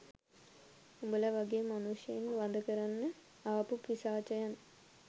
උඹල වගේ මනුෂ්‍යයන් වඳ කරන්න ආපු පිසාචයන්